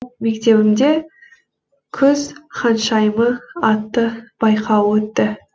мектебімде күз ханшайымы атты байқауы өтті